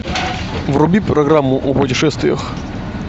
вруби программу о путешествиях